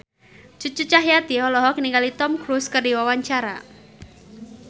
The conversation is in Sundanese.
Cucu Cahyati olohok ningali Tom Cruise keur diwawancara